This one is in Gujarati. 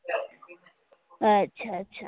અચ્છા અચ્છા